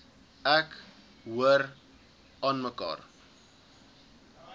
ek hoor aanmekaar